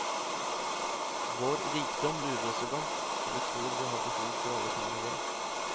Vår rikdom lurer oss iblant så vi tror vi har behov for alle tingene våre.